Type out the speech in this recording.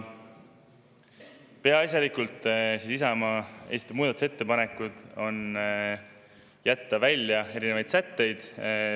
Peaasjalikult Isamaa esitatud muudatusettepanekutega jätta välja erinevaid sätteid.